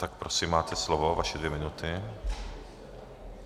Tak prosím, máte slovo, vaše dvě minuty.